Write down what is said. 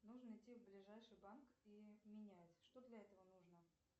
нужно идти в ближайший банк и менять что для этого нужно